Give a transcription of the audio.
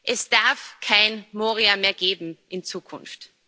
Es darf kein Moria mehr geben in Zukunft.